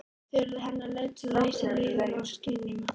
Þau urðu hennar leið til að lýsa líðan og skynjun.